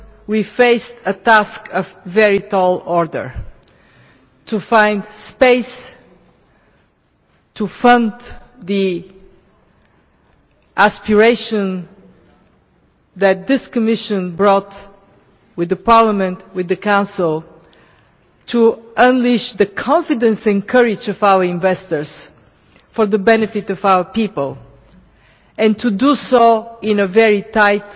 We faced a very tall order to find space to fund the aspiration that this Commission brought, with Parliament and with the Council, to unleash the confidence and courage of our investors for the benefit of our people, and to do so in a very tight